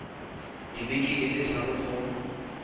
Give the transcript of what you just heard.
dibeke di le thataro go